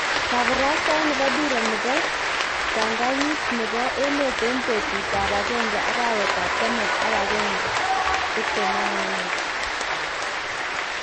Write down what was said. Kaparastaet nepo dira nepo ptanganyit nepo emet en petut ap agenge, arawet ap taman ak agenge 21 201